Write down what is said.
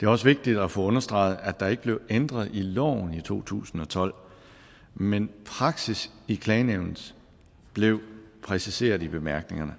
det er også vigtigt at få understreget at der ikke blev ændret i loven i to tusind og tolv men praksis i klagenævnet blev præciseret i bemærkningerne